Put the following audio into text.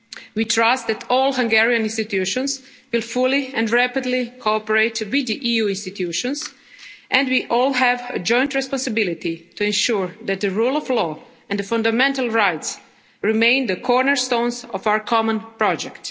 possible. We trust that all Hungarian institutions will fully and rapidly cooperate with the EU institutions, and we all have a joint responsibility to ensure that the rule of law and fundamental rights remain the cornerstones of our common